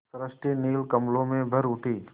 सृष्टि नील कमलों में भर उठी